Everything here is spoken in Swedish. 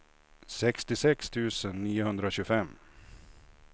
sextiosex tusen niohundratjugofem